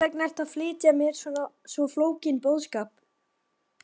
Og hversvegna ertu að flytja mér svo flókinn boðskap?